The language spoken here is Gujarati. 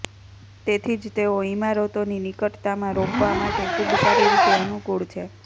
તેથી જ તેઓ ઇમારતોની નિકટતામાં રોપવા માટે ખૂબ સારી રીતે અનુકૂળ છે